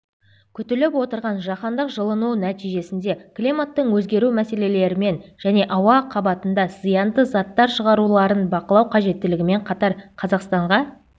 күтіліп отырған жаһандық жылыну нәтижесінде климаттың өзгеру мәселелерімен және ауа қабытында зиянды заттар шығаруларын бақылау қажеттілігімен қатар қазақстанға